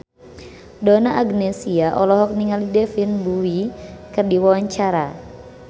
Donna Agnesia olohok ningali David Bowie keur diwawancara